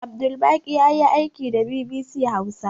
Abdulbaƙi jari yayi aiki da bibisi hausa